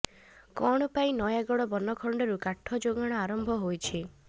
ଣ ପାଇଁ ନୟାଗଡ ବନଖଣ୍ଡରୁ କାଠ ଯୋଗାଣ ଆରମ୍ଭ ହୋଇଛି